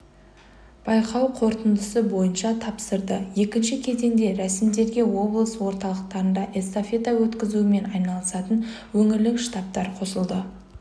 байқау қорытындысы бойынша тапсырды екінші кезеңде рәсімдерге облыс орталықтарында эстафета өткізумен айналысатын өңірлік штабтар қосылды